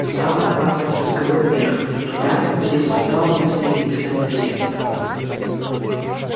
стал отматывать разговор вверх туда где вступал вместо ильи сам петя